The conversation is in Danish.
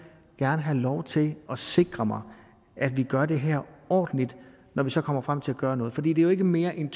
have lov til at sikre mig at vi gør det her ordentligt når vi så kommer frem til at gøre noget for det er jo ikke mere end